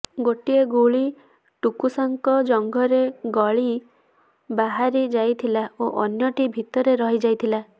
ଗୋଟିଏ ଗୁଳି ଟୁକୁସାଙ୍କ ଜଙ୍ଘରେ ଗଳି ବାହାରି ଯାଇଥିଲା ଓ ଅନ୍ୟଟି ଭିତରେ ରହି ଯାଇଥିଲା